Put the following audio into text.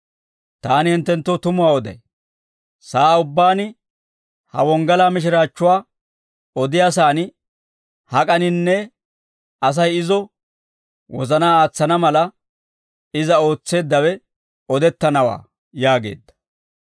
Taani hinttenttoo tumuwaa oday; sa'aa ubbaan ha wonggalaa mishiraachchuwaa odiyaasan hak'aninne, Asay izo wozanaa aatsana mala, iza ootseeddawe odettanawaa» yaageedda.